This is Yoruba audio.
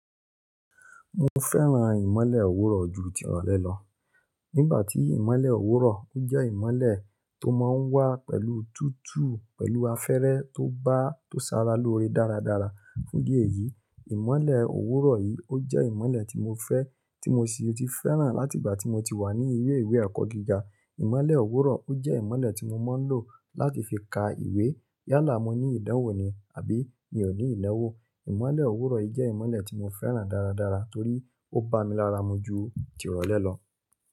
Mo fẹ́ran ìmọ́lẹ̀ òwúrọ̀ ju tirọ́lẹ́ lọ. Nígbà tí ìmọ́lẹ̀ òwúrọ̀, ó jẹ́ ìmọ́lẹ̀ tó máa ń wá pẹ̀lú tútù, pẹ̀lú afẹ́rẹ́ tó bá, tó sara lóre dáradára. Fún ìdí èyí, ìmọ́lẹ̀ òwúrọ̀ yìí ó jẹ́ ìmọ́lẹ̀ tí mo fẹ́, tí mo sì ti fẹ́ràn láti ìgbà tí mo ti wà ní ilé ìwé ẹ̀kọ́gíga. Ìmọ́lẹ̀ òwúrọ̀ ó jẹ́ ìmọ́lẹ̀ tí mo máa ń lò láti fi ka ìwé yálà mo ní ìdánwò ni àbí mi ò ní ìdánwò. Ìmọ́lẹ̀ òwúrọ̀ yìí jẹ́ ìmọ́lẹ̀ tí mo fẹ́ràn dáradára torí ó ba mi lára mu ju tirọ́lẹ́ lọ.